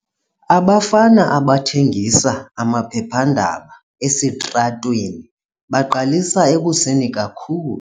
Abafana abathengisa amaphephandaba esitratweni baqalisa ekuseni kakhulu.